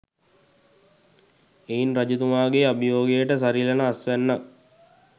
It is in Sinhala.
එයින් රජතුමාගේ අභියෝගයට සරිලන අස්වැන්නක්